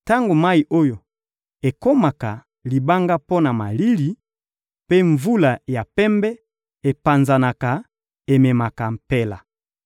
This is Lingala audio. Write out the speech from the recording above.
Tango mayi oyo ekomaka libanga mpo na malili, mpe mvula ya pembe, epanzanaka, ememaka mpela.